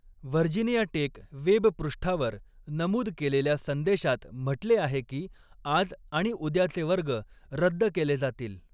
Virginia Tech web पृष्ठावर नमूद केलेल्या संदेशात म्हटले आहे की आज आणि उद्याचे वर्ग रद्द केले जातील.